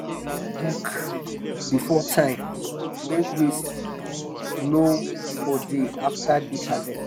customers dey book um before time make waste no for dey after big harvest.